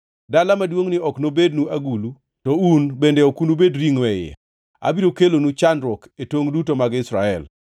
Dala maduongʼni ok nobednu agulu, to un bende ok nubed ringʼo e iye. Abiro kelonu chandruok e tongʼ duto mag Israel.